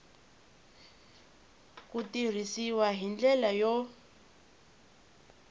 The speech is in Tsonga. ku tirhisiwa hi ndlela yo